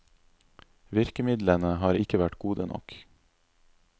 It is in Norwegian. Virkemidlene har ikke vært gode nok.